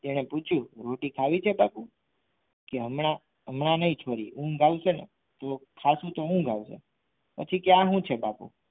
તેણે પૂછ્યું રોટી ખાવી છે બાપુ કે હમણાં હમણાં નહીં છોરી ઊંઘ આવશે ને તો ખાસું તો ઊંઘ આવશે પછી કે આ શું છે બાપુ